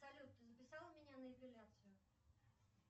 салют ты записал меня на эпиляцию